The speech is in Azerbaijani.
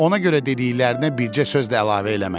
Ona görə dediklərinə bircə söz də əlavə eləmədi.